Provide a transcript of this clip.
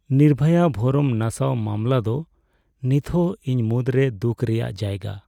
ᱱᱤᱨᱵᱷᱚᱭᱟ ᱵᱷᱚᱨᱚᱢ ᱱᱟᱥᱟᱣ ᱢᱟᱢᱞᱟ ᱫᱚ ᱱᱤᱛᱦᱚᱸ ᱤᱧ ᱢᱩᱫᱽᱨᱮ ᱫᱩᱠᱷ ᱨᱮᱭᱟᱜ ᱡᱟᱭᱜᱟ ᱾